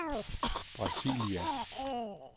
Brasilia